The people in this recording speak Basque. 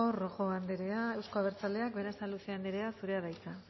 rojo anderea euzko abertzaleak berasaluze anderea zurea da hitza